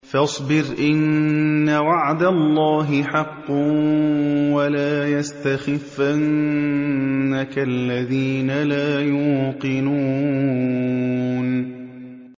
فَاصْبِرْ إِنَّ وَعْدَ اللَّهِ حَقٌّ ۖ وَلَا يَسْتَخِفَّنَّكَ الَّذِينَ لَا يُوقِنُونَ